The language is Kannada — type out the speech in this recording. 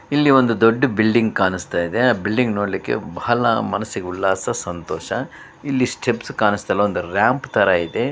ಇಲ್ಲಿ ಒಂದು ದೊಡ್ಡ ಬಿಲ್ಡಿಂಗ್ ಕಾಣಿಸ್ತಾ ಇದೆ ಆ ಬಿಲ್ಡಿಂಗು ನೋಡ್ಲಿಕ್ಕೆ ಬಹಳ ಮನಸ್ಸಿಗೆ ಉಲ್ಲಾಸ ಸಂತೋಷ ಇಲ್ಲಿ ಸ್ಟೆಪ್ಸ್ ಕಾಣಿಸ್ತಾ ಇಲ್ಲ ಒಂದು ರಾಂಪ್ ತರ ಇದೆ.